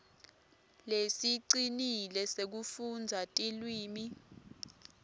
lesicinile sekufundza tilwimi